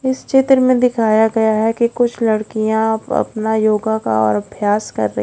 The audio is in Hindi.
इस चित्र में दिखाया गया है की कुछ लड़कियां अपना योगा का और अभ्यास कर रही--